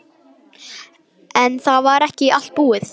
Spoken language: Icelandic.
En það var ekki allt búið.